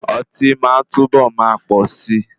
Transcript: Oti máa túnbọ̀ máa pọ si.